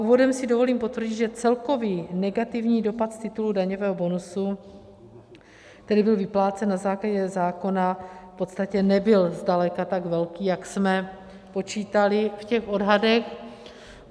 Úvodem si dovolím potvrdit, že celkový negativní dopad z titulu daňového bonusu, který byl vyplácen na základě zákona, v podstatě nebyl zdaleka tak velký, jak jsme počítali v těch odhadech.